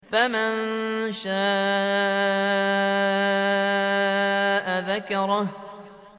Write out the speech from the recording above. فَمَن شَاءَ ذَكَرَهُ